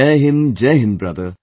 Jai Hind, Jai Hind, brother